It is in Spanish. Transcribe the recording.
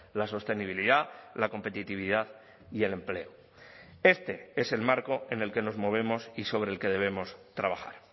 la sostenibilidad la competitividad y el empleo este es el marco en el que nos movemos y sobre el que debemos trabajar